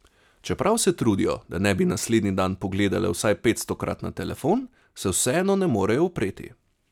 Čeprav se trudijo, da ne bi naslednji dan pogledale vsaj petstokrat na telefon, se vseeno ne morejo upreti.